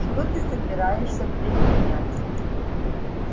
что ты собираешься предпринять